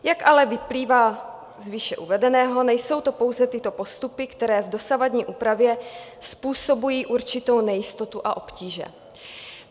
Jak ale vyplývá z výše uvedeného, nejsou to pouze tyto postupy, které v dosavadní úpravě způsobují určitou nejistotu a obtíže.